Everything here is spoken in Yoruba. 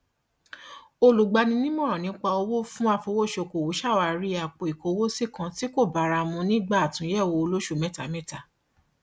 olùgbanimọràn nípa owó fún afowósókòwò ṣàwárí àpoìkówósí kan tí kò bára mu nígbà àtúnyẹwò olóṣù mẹtamẹta